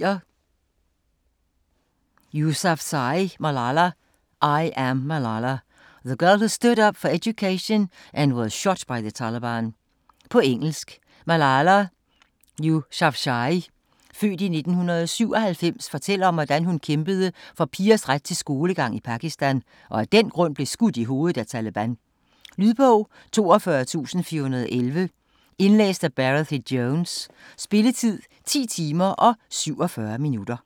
Yousafzai, Malala: I am Malala: the girl who stood up for education and was shot by the Taliban På engelsk. Malala Yousafzai (f. 1997) fortæller om, hvordan hun kæmpede for pigers ret til skolegang i Pakistan, og af den grund blev skudt i hovedet af Taleban. Lydbog 42411 Indlæst af Barathy Jones Spilletid: 10 timer, 47 minutter.